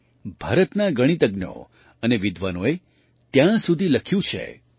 ભારતના ગણિતજ્ઞો અને વિદ્વાનોએ ત્યાં સુધી લખ્યું છે કે